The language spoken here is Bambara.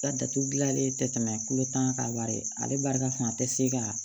Ka datugu gilanlen tɛ tɛmɛ kolotan kan wari ale barika fan tɛ se ka